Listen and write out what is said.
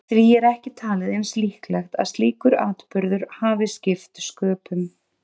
Því er ekki talið eins líklegt að slíkur atburður hafi skipt sköpum.